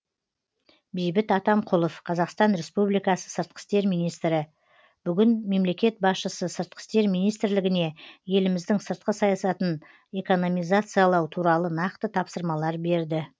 бейбіт атамқұлов қазақстан республикасы сыртқы істер министрі бүгін мемлекет басшысы сыртқы істер министрлігіне еліміздің сыртқы саясатын экономизациялау туралы нақты тапсырмалар берді